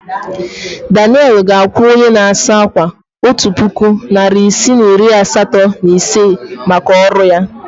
Daniel ga-akwụ onye na-asa ákwà otu puku naịra isii na iri asatọ na ise maka ọrụ ya.